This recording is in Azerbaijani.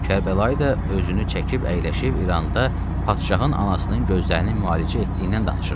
Kərbəlayı da özünü çəkib əyləşib İranda padşahın anasının gözlərinin müalicə etdiyindən danışırdı.